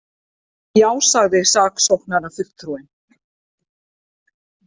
Já, sagði saksóknarafulltrúinn.